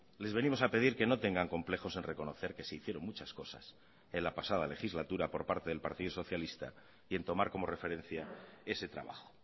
les venimos a pedir que no tengan complejos en reconocer que se hicieron muchas cosas en la pasada legislatura por parte del partido socialista y en tomar como referencia ese trabajo